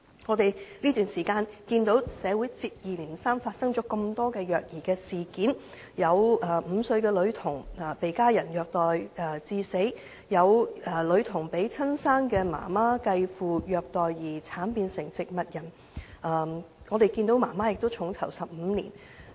我們在這段時間內看到社會上接二連三發生多宗虐兒事件，有5歲女童遭家人虐待致死，亦有女童因遭生母和繼父虐待而慘變植物人，結果該名母親被重囚15年。